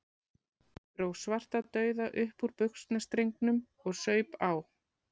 Dró Svartadauða upp úr buxnastrengnum og saup á.